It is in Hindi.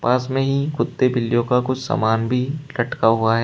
पास में ही कुत्ते बिल्लियों का कुछ सामान भी लटका हुआ है।